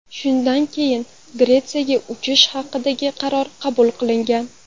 Shundan keyin Gretsiyaga uchish haqidagi qaror qabul qilingan.